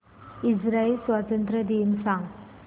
Israel स्वातंत्र्य दिन सांग